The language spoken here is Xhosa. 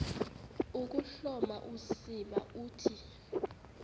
ukuhloma usiba uthi